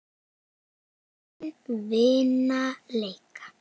Mörk vinna leiki.